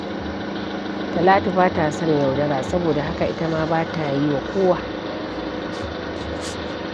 Talatu ba ta son yaudara, saboda haka ita ma ba ta yi wa kowa.